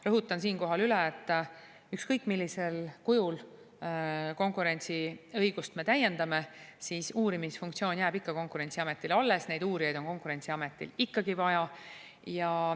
Rõhutan siinkohal üle, et ükskõik millisel kujul me konkurentsiõigust täiendame, uurimisfunktsioon jääb ikka Konkurentsiametile alles, neid uurijaid on Konkurentsiametil ikkagi vaja.